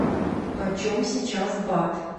почем сейчас бат